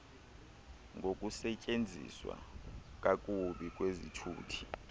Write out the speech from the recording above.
ngokusetyenziswa kakubi kwezithuthi